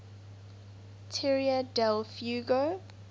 tierra del fuego